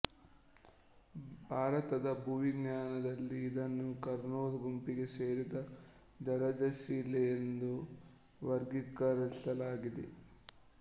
ಭಾರತದ ಭೂವಿಜ್ಞಾನದಲ್ಲಿ ಇದನ್ನು ಕರ್ನೂಲ್ ಗುಂಪಿಗೆ ಸೇರಿದ ಜಲಜಶಿಲೆಯೆಂದು ವರ್ಗೀಕರಿಸಲಾಗಿದೆ